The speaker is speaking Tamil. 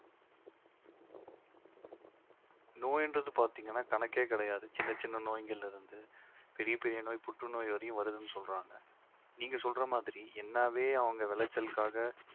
நோய்ன்றது பார்த்தீங்கன்னா கணக்கே கிடையாது சின்ன சின்ன நோய்களிலிருந்து பெரிய பெரிய நோய் புற்றுநோய் வரையும் வருதுன்னு சொல்றாங்க நீங்க சொல்ற மாதிரி என்னாவே அவங்க விளைச்சலுக்காக